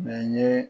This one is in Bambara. Mɛ n ye